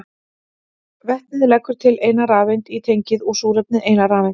Vetnið leggur til eina rafeind í tengið og súrefnið eina rafeind.